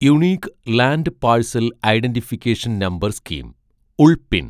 unique land parcel identification number scheme ULPIN